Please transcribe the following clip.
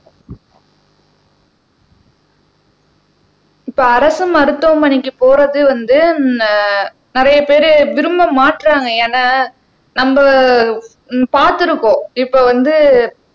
இப்ப அரசு மருத்துவமனைக்கு போறது வந்து நி நிறைய பேரு விரும்ப மாட்றாங்க ஏன்னா நம்ம உம் பார்த்திருக்கோம் இப்ப வந்து